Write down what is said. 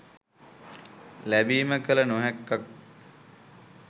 ලැබීම කල නොහැක්කක්